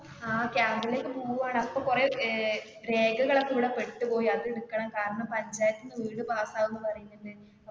ആ camp ലേക്ക് പോകുവാ അപ്പൊ കുറെ അഹ് രേഖകൾ ഒക്കെ ഇവിടെ പെട്ട് പോയി കാരണം പഞ്ചായത്തു നിന്ന് വീട് pass ആകും എന്ന് അറിയിച്ചിട്ടുണ്ട്.